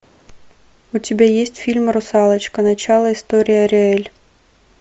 у тебя есть фильм русалочка начало истории ариэль